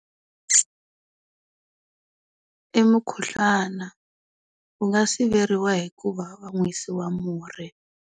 I mukhuhlwana. Wu nga siveriwa hi ku va va nwisiwa murhi.